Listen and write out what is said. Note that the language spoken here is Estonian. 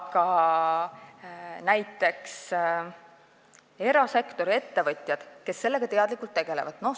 Toon näiteks erasektori ettevõtjad, kes sellega teadlikult tegelevad.